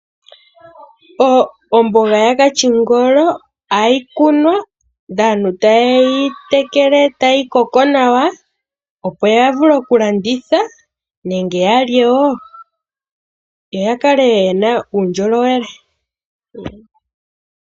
Omboga ya kashingolo oha yi kunwa ndele aantu ta te yi tekele, etayi koko nawa, opo ya vule oku landitha nenge yalye woo, yo ya kale yena uundjolowele.